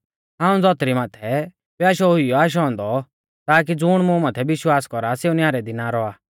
हाऊं धौतरी माथै प्याशौ हुइयौ ऊ आशौ औन्दौ ताकी ज़ुण मुं माथै विश्वास कौरा सेऊ न्यारै दी ना रौआ